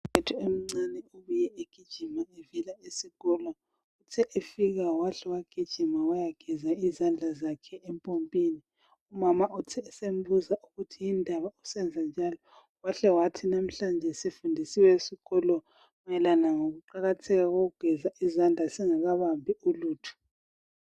Ubhudi omncane ubuye egijima evela esikolo uthe efika wahle wagijima wayageza izandla zakhe empompini umama uthe esembuza ukuthi yindaba usenza njalo wahle wathi namhlanje sifundisiwe esikolo mayelana ngokuqakatheka kokugeza izandla singakabambi ulutho.